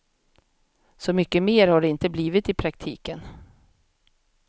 Så mycket mer har det inte blivit i praktiken.